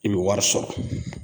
I bi wari sɔrɔ